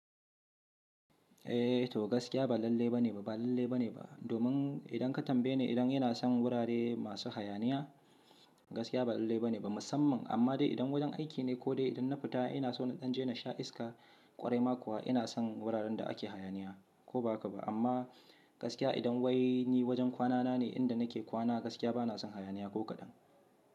Eh to gaskiya ba lalle ba ne ba, ba lalle ba ne ba. Domin idan ka tambaye ni idan ina son wurare masu hayaniya, gaskiya ba lalle ba ne ba musamman. Amma dai idan wajen aiki ne ko dai idan na fita ina so na canje, na sha iska ƙwarai ma kuwa ina son wuraren da ake hayaniya ko ba haka ba. Amma gaskiya idan wai ni wajen kwanana ne inda nake kwana gaskiya ba na son hayaniya ko kaɗan.